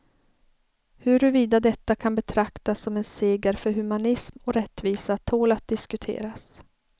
Huruvida detta kan betraktas som en seger för humanism och rättvisa tål att diskuteras.